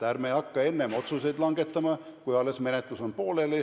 Ärme hakka enne otsuseid langetama, kui menetlus on alles pooleli.